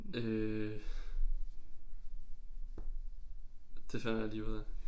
Øh det finder jeg lige ud af